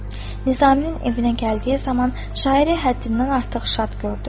Nizaminin evinə gəldiyi zaman şairi həddindən artıq şad gördü.